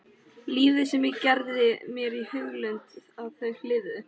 Lífið sem ég gerði mér í hugarlund að þau lifðu.